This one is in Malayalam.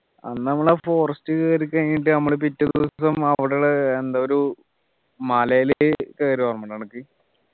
അന്ന് നമ്മള് ആ forest കേറി കഴിഞ്ഞിട്ട് നമ്മള് പിറ്റേ ദിവസം അവിടെയുള്ള എന്താ ഒരു മലയില് കേറിയതോർമയുണ്ടാ അനക്ക്